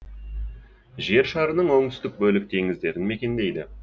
жер шарының онтүстік бөлік теңіздерін мекендейді